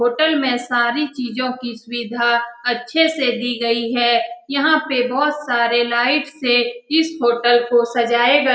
Hotel में सारी चीजो की सुविधा अच्छे से दी गयी है। यहाँ पे बोहोत सारे लाइट से इस होटल को सजाए गए --